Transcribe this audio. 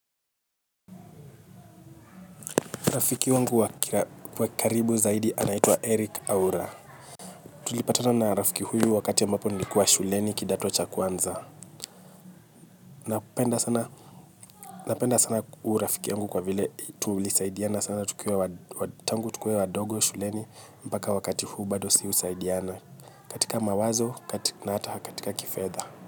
Rafiki wangu wa karibu zaidi anaitwa Eric Aura. Tulipatana na rafiki huyu wakati ambapo nilikuwa shuleni kidato cha kwanza. Napenda sana huyu rafiki yangu kwa vile tulisaidiana sana tangu tukiwa wadogo shuleni mpaka wakati huu sisi bado husaidiana. Katika mawazo na hata katika kifedha.